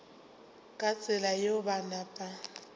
ka tsela yeo ba napa